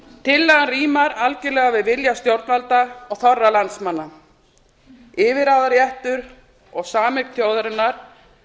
tillagan rímar algerlega við vilja stjórnvalda og þorra landsmanna yfirráðaréttur og sameign þjóðarinnar